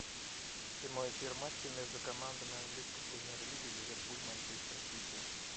прямой эфир матча между командами английской премьер лиги ливерпуль манчестер сити